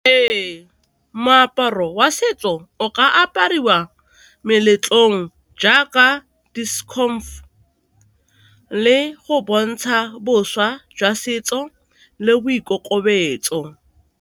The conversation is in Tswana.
Ee, moaparo wa setso o ka apariwa meletlong, jaaka di le go bontsha bošwa jwa setso le boikokobetso.